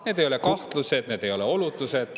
Need ei ole kahtlused, need ei ole oletused …